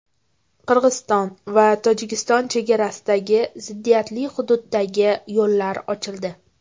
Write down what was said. Qirg‘iziston va Tojikiston chegarasidagi ziddiyatli hududdagi yo‘llar ochildi.